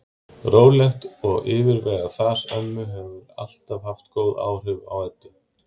Rólegt og yfirvegað fas ömmu hefur alltaf haft góð áhrif á Eddu.